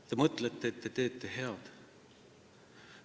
Te mõtlete, et te teete head.